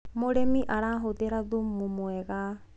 mũrĩmi arahuthira thumu mwega